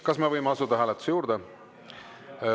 Kas me võime asuda hääletuse juurde?